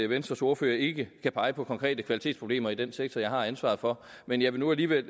venstres ordfører ikke kan pege på konkrete kvalitetsproblemer i den sektor jeg har ansvaret for men jeg vil nu alligevel